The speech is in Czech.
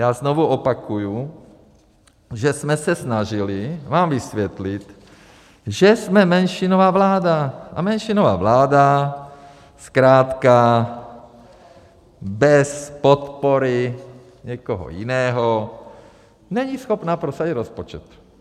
Já znovu opakuju, že jsme se snažili vám vysvětlit, že jsme menšinová vláda a menšinová vláda zkrátka bez podpory někoho jiného není schopna prosadit rozpočet.